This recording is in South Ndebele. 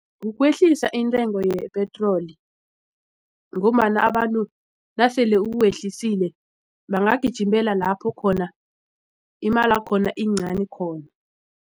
Ukwehlisa intengo yepetroli ngombana abantu nasele uwehlisile bangagijimela lapho khona imalakhona iyincani khona.